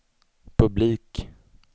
publik